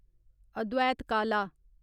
अद्वैत काला